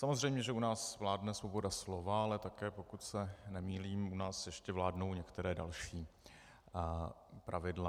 Samozřejmě že u nás vládne svoboda slova, ale také, pokud se nemýlím, u nás ještě vládnou některá další pravidla.